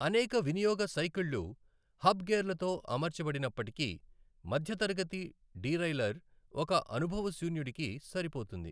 అనేక వినియోగ సైకిళ్ళు హబ్ గేర్లతో అమర్చబడినప్పటికీ, మధ్య తరగతి డీరైల్లర్ ఒక అనుభవశూన్యుడుకి సరిపోతుంది.